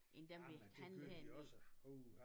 Ja men det kørte de også uha